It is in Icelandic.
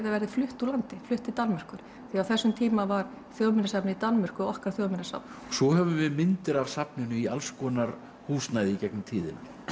verði flutt úr landi flutt til Danmerkur því á þessum tíma var Þjóðminjasafnið í Danmörku okkar Þjóðminjasafn svo höfum við myndir af safninu í alls konar húsnæði í gegnum tíðina